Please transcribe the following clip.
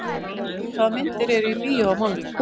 Kittý, hvaða myndir eru í bíó á mánudaginn?